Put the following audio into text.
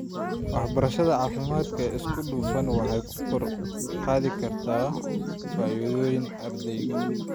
Waxbarashada caafimaadka ee isku dhafan waxay kor u qaadi kartaa fayoobida ardayga.